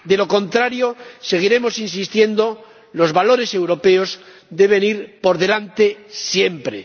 De lo contrario, seguiremos insistiendo los valores europeos deben ir por delante siempre.